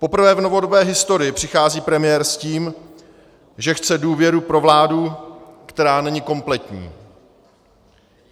Poprvé v novodobé historii přichází premiér s tím, že chce důvěru pro vládu, která není kompletní.